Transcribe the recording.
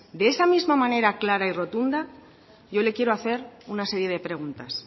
de esa misma manera clara y rotunda yo le quiero hacer una serie de preguntas